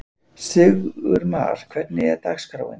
Sigurmar, hvernig er dagskráin?